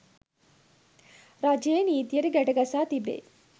රජයේ නීතියට ගැටගසා තිබේ